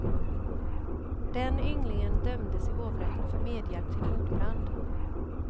Den ynglingen dömdes i hovrätten för medhjälp till mordbrand.